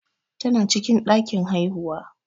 Tana cikin ɗakin haihuwa.